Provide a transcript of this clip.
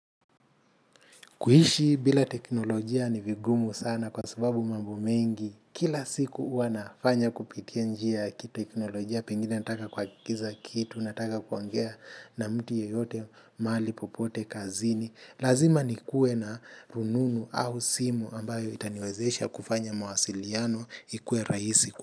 Kuishi bila teknolojia ni vigumu sana kwa sababu mambo mengi. Kila siku huwa nafanya kupitia njia kiteknolojia pengine nataka kuagiza kitu, nataka kuongea na mtu yeyote mahali, popote, kazini. Lazima nikuwe na rununu au simu ambayo itaniwezesha kufanya mawasiliano ikuwe rahisi.